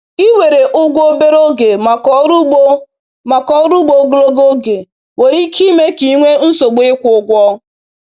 Iwere ụgwọ obere oge maka ọrụ ugbo maka ọrụ ugbo ogologo oge nwere ike ime ka ị nwee nsogbu ịkwụ ụgwọ.